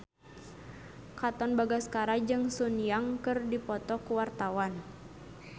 Katon Bagaskara jeung Sun Yang keur dipoto ku wartawan